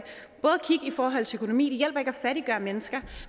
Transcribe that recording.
forhold til økonomi at fattiggøre mennesker